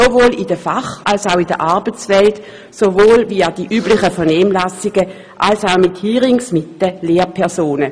sowohl in der Fach- als auch in der Arbeitswelt, sowohl via die üblichen Vernehmlassungen als auch durch Hearings mit den Lehrpersonen.